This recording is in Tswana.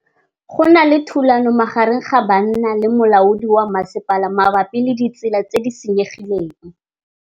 Go na le thulanô magareng ga banna le molaodi wa masepala mabapi le ditsela tse di senyegileng.